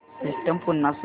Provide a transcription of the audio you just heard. system पुन्हा सुरू कर